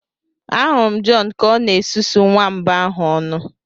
Ahụrụ m John Ka ọ na-esusu nwamba ahụ ọnụ